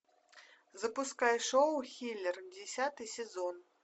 запускай шоу хилер десятый сезон